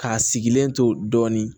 K'a sigilen to dɔɔnin